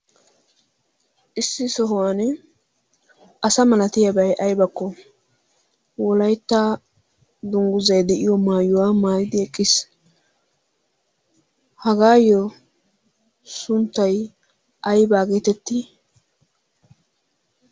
issi sohuwan asa malatiyaabay aybakko wolaitta dungguzay de'iyo maayuwaa maayidi eqqiis hagaayyo sunttai aybaa geetetti?